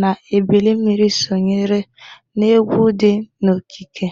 na ebilimmiri sonyere n'egwụ dị n'okike.